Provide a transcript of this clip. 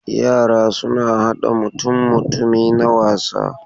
Yara suna hada mutummutumi na wasa.